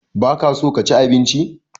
Ba ka so ka ci abinci?